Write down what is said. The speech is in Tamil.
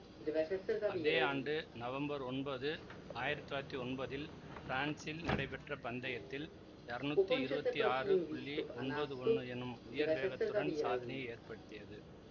அதே ஆண்டு நவம்பர் ஒன்பது ஆயிரத்தி தொள்ளாயிரத்தி ஒன்பதில் பிரான்சில் நடைபெற்ற பந்தயத்தில் இருநூத்தி இருவத்தி ஆறு ஒன்பது ஒன்னு எனும் உயர் வேகத்துடன் சாதனையை ஏற்படுத்தியது